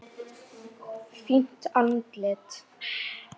Fínt andlit?